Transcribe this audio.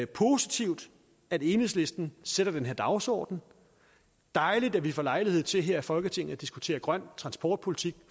positivt at enhedslisten sætter den her dagsorden dejligt at vi får lejlighed til her i folketinget at diskutere grøn transportpolitik